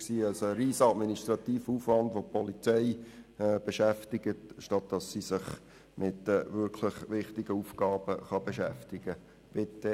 Es entstünde somit ein riesiger administrativer Aufwand, der die Polizei beschäftigen würde, statt dass sich diese mit ihren wirklich wichtigen Aufgaben beschäftigen könnte.